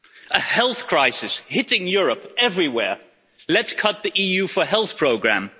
A health crisis hitting Europe everywhere let's cut the EU for Health Programme.